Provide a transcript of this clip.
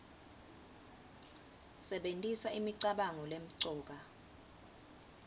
sebentisa imicabango lemcoka